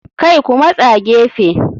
Kai Ku matsa gefe.